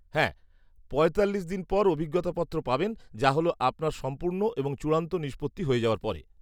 হ্যাঁ, পঁয়তাল্লিশ দিন পর অভিজ্ঞতা পত্র পাবেন, যা হল আপনার সম্পূর্ণ এবং চূড়ান্ত নিষ্পত্তি হয়ে যাওয়ার পরে।